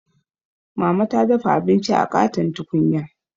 Mama ta dafa abinci a ƙaton tukunya.